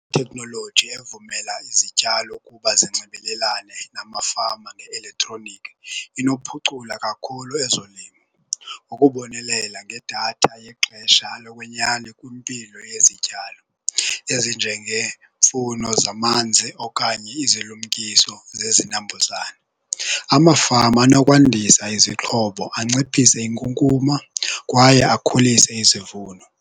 Iteknoloji evumela izityalo ukuba zinxibelelane namafama nge-eletroniki inokuphucula kakhulu ezolimo ngokubonelela ngedatha yexesha lokwenyani kwimpilo yezityalo ezinjengeemfuno zamanzi okanye izilumkiso zezinambuzane. Amafama anokwandisa izixhobo anciphise inkunkuma kwaye akhulise izivuno.